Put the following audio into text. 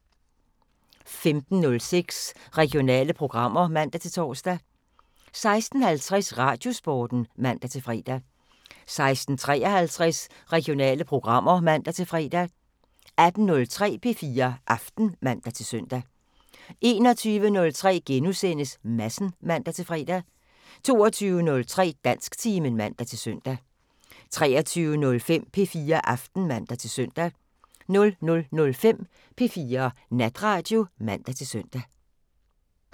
15:06: Regionale programmer (man-tor) 16:50: Radiosporten (man-fre) 16:53: Regionale programmer (man-fre) 18:03: P4 Aften (man-søn) 21:03: Madsen *(man-fre) 22:03: Dansktimen (man-søn) 23:05: P4 Aften (man-søn) 00:05: P4 Natradio (man-søn)